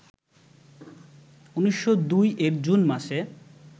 ১৯০২ এর জুন মাসে